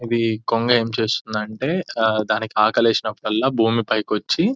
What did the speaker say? ఇది కొంగ ఏం చేస్తుంది అంటే దానికి ఆకలి వేసినప్పుడల్లా భూమి పైకి వచ్చి --